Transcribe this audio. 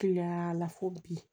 Kiliyan la fo bi